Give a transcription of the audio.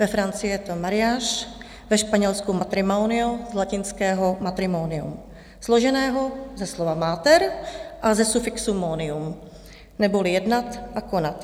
Ve Francii je to mariage, ve Španělsku matrimonio z latinského matrimonium, složeného ze slova mater a ze sufixu monium neboli jednat a konat.